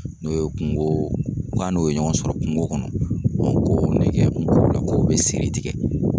N'o ye kungo, k'a n'o ye ɲɔgɔn sɔrɔ kungo kɔnɔ ko ne kɛ kungolo la ko bɛ siri tigɛ.